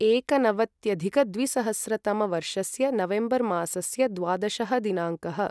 एकनवत्यधिकद्विसहस्रतमवर्षस्य November मासस्य द्वादशः दिनाङ्कः